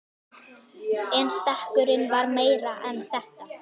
En stekkurinn var meira en þetta.